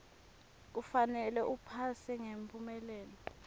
kufanele uphase ngemphumelelo